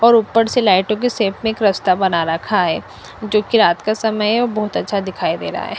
और उपर से लाइटो के सेप में रस्ता बना रखा है जो की रात का समय है बहोत अच्छा दिखाई दे रहा है।